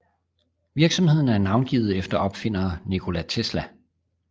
Virksomheden er navngivet efter opfinder Nikola Tesla